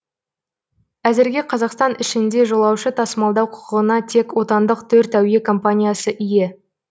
әзірге қазақстан ішінде жолаушы тасымалдау құқығына тек отандық төрт әуе компаниясы ие